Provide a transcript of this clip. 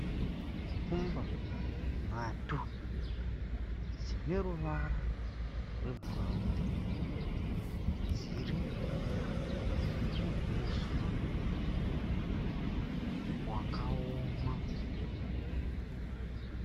Shumba nhatu dzineruvara rwebhurawuni dzirimuhuswa hwakaoma.